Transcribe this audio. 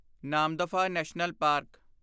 Namdapha national park